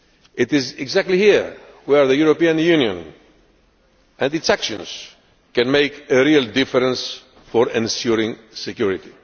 It is exactly here where the European Union and its actions can make a real difference for ensuring security.